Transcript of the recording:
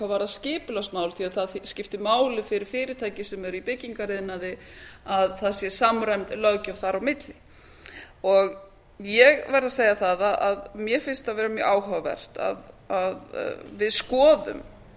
varðar skiuplagsmál því það skiptir máli fyrir fyrirtæki sem eru í byggingariðnaði að það sé samræmd löggjöf þar á milli ég verð að segja að mér finnst það vera mjög áhugavert að við skoðum